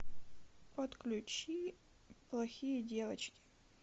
подключи плохие девочки